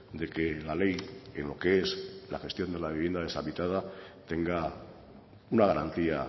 de que la ley en lo que es la gestión de la vivienda deshabitada tenga una garantía